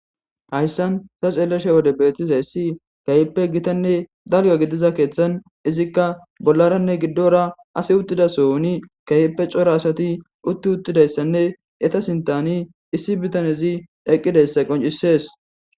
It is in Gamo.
Hayssan sa xeellesha wode beetis hayssi kayippe gitanne dalya gidiza keeththan izikka bollaranne giddora asi uttida sooni kayeppe cora asati utti uttidayssanne eta sintani issi bitanezi eqqidayssa qoncisees.